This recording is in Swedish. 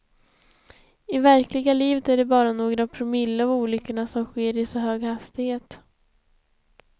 I verkliga livet är det bara några promille av olyckorna som sker i så hög hastighet.